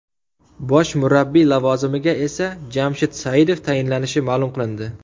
Bosh murabbiy lavozimiga esa Jamshid Saidov tayinlanishi ma’lum qilindi.